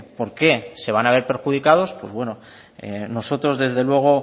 por qué se van a ver perjudicados pues bueno nosotros desde luego